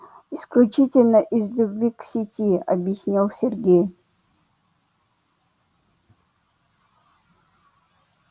исключительно из любви к сети объяснил сергей